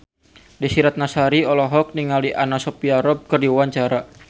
Desy Ratnasari olohok ningali Anna Sophia Robb keur diwawancara